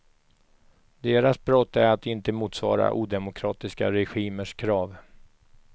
Deras brott är att de inte motsvarar odemokratiska regimers krav.